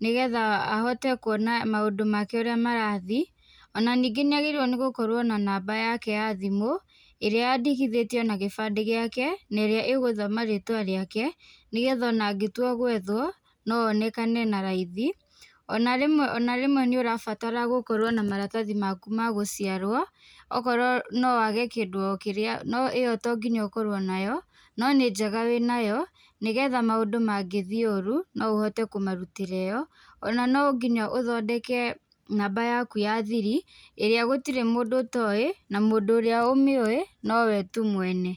nĩgetha ahote kuona maũndũ make ũrĩa marathĩĩ, ona ningĩ nĩ agĩrĩirwo nĩ gukorwo na namba yake ya thimũ ĩrĩa yandĩkithĩtio na gĩbandĩ gĩake na ĩrĩa ĩgũthoma rĩtwa rĩake nĩgetha ona angĩtua gwethwo no onekane na raithĩ. Ona rĩmwe nĩ ũrabatara gukorwo na maratathi maku ma gũciarwo ũkorwo nowage kĩndũ kĩrĩa, no ĩyo to nginya ũkorwo nayo, no nĩ njega wĩnayo nĩgetha maũndũ mangĩthiĩ ũru no ũhote kũmarutĩra ĩyo. Ona no ngina ũthondeke namba yaku ya thiri, ĩrĩa gũtirĩ mũndũ ũtoĩ na mũndũ ũrĩa ũmĩoĩ no we tu mwene.